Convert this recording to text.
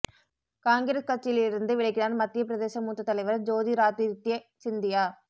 காங்கிரஸ் கட்சியில் இருந்து விலகினார் மத்திய பிரதேச மூத்த தலைவர் ஜோதிராதித்ய சிந்தியா